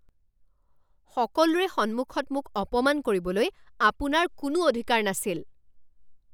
সকলোৰে সন্মুখত মোক অপমান কৰিবলৈ আপোনাৰ কোনো অধিকাৰ নাছিল।